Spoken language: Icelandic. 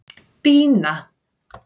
Bína